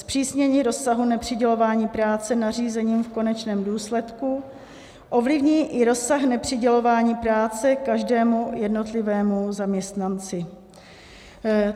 Zpřísnění rozsahu nepřidělování práce nařízením v konečném důsledku ovlivní i rozsah nepřidělování práce každému jednotlivému zaměstnanci.